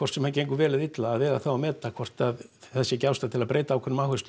sem hann gengur vel eða illa að vega þá og meta hvort það sé ekki einhver ástæða til að breyta einhverju